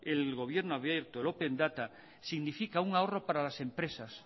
el gobierno abierto el open data significa un ahorro para las empresas